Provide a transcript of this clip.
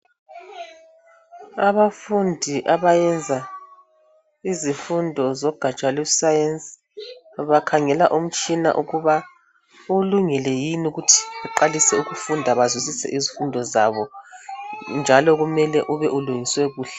Abafundi abayenza izifundo zogatsha lwesayensi bakhangela umtshina ukuba ulungile yini ukuthi beqalise ukufunda bazwisise izifundo zabo njalo kumele ube ulungiswe kuhle.